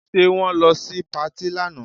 Ṣe wọ́n lọ sí patí lánàá?